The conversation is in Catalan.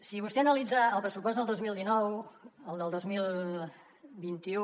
si vostè analitza el pressupost del dos mil dinou el del dos mil vint u